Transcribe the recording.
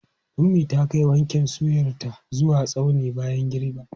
Ummi ta kai waken soyarta zuwa tsaunin bayan girbi.